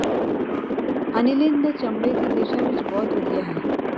aniline ਦੇ ਚਮੜੇ ਦੀ ਦਿਸ਼ਾ ਵਿੱਚ ਬਹੁਤ ਵਧੀਆ ਹੈ